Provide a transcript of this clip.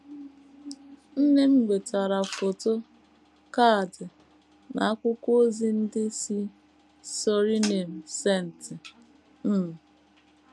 Nne m nwetara foto, kaadị, na akwụkwọ ozi ndị si Suriname, St. um